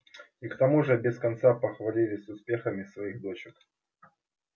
и к тому же без конца похвалялись успехами своих дочек